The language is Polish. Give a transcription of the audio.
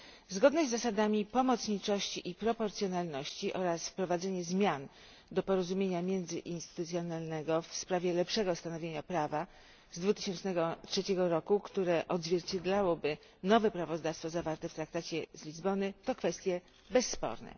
Zgodność z zasadami pomocniczości i proporcjonalności oraz wprowadzenie zmian do porozumienia międzyinstytucjonalnego w sprawie lepszego stanowienia prawa z 2003 roku, które odzwierciedlałoby nowe prawodawstwo zawarte w traktacie z Lizbony, to kwestie bezsporne.